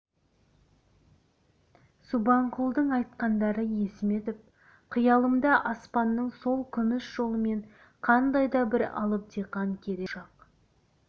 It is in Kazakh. субанқұлдың айтқандары есіме түсіп қиялымда аспанның сол күміс жолымен қандай да бір алып диқан кере ұшақ